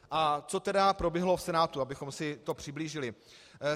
A co tedy proběhlo v Senátu, abychom si to přiblížili.